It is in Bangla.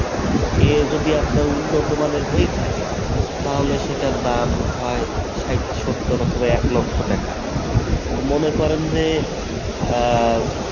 এ যদি আপনার উন্নত মানের হয়ে থাকে তাহলে সেটার দাম হয় ষাইট সত্তর অথবা এক লক্ষ টাকা তো মনে করেন যে আহ